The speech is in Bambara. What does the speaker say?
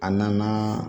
A nana